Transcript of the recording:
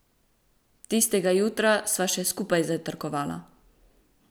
Tistega jutra sva še skupaj zajtrkovala.